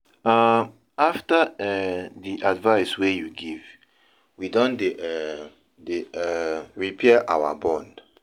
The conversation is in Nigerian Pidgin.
um After um di advice wey you give, we don dey um dey um repair our bond.